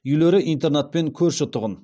үйлері интернатпен көрші тұғын